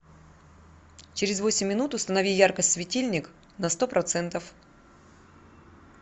через восемь минут установи яркость светильник на сто процентов